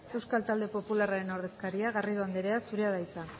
euskal talde popularraren ordezkaria garrido anderea zurea da hitza